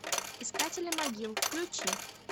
искатели могил включи